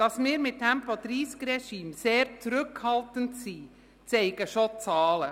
Dass wir mit Tempo-30-Regimen sehr zurückhaltend sind, zeigen schon die Zahlen.